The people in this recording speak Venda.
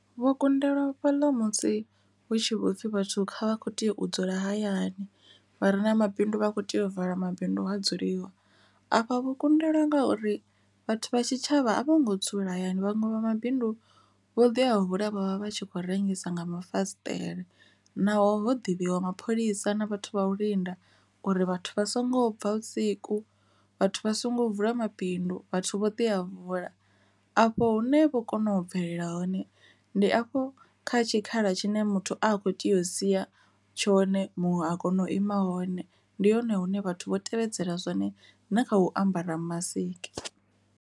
Vho kundelwa fhaḽa musi hu tshi vho pfhi vhathu kha vha kho tea u dzula hayani vha re na mabindu vha a kho tea u vala mabindu ha dzuliwa, afha vho kundelwa ngauri vhathu vha tshitshavha a vho ngo dzula hayani vhaṅwe vha mabindu u vho ḓi a vula vha tshi khou rengisa nga mafasiṱere, naho ḓivhiwa mapholisa na vhathu vha u linda uri vhathu vha songo bva vhusiku vhathu vha songo vula mabindu vhathu vho tea a vhuḽa, afho hune vho kona u bvelela hone ndi afho kha tshikhala tshine muthu a kho tea u sia tshone muṅwe a kona u ima hone ndi hone hune vhathu vho tevhedzela zwone na kha u ambara masiki.